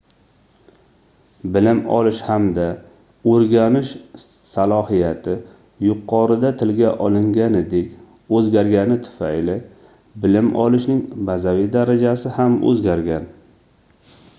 bilim olish hamda oʻrganish slohiyati yuqorida tilga olinganidek oʻzgargani tufayli bilim olishning bazaviy darajasi ham oʻzgargan